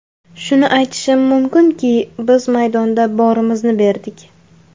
Shuni aytishim mumkinki, biz maydonda borimizni berdik.